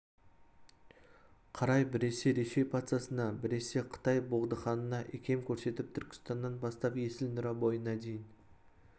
қарай біресе ресей патшасына біресе қытай боғдыханына икем көрсетіп түркістаннан бастап есіл нұра бойына дейін